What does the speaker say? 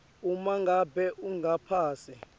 uma ngabe ungaphasi